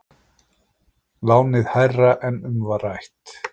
Lánið hærra en um var rætt